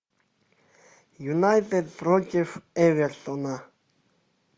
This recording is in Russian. юнайтед против эвертона